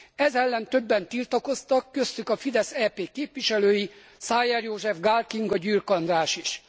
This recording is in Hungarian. Ez ellen többen tiltakoztak, köztük a Fidesz EP képviselői, Szájer József, Gál Kinga, Gyürk András is.